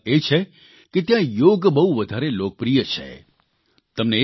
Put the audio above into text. વધુ એક ખાસ વાત એ છે કે ત્યાં યોગ બહુ વધારે લોકપ્રિય છે